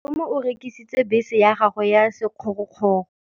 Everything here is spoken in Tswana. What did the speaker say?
Malome o rekisitse bese ya gagwe ya sekgorokgoro.